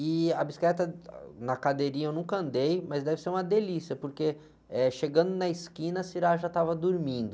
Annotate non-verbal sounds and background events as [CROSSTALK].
E a bicicleta na cadeirinha eu nunca andei, mas deve ser uma delícia, porque, eh, chegando na esquina a [UNINTELLIGIBLE] já estava dormindo.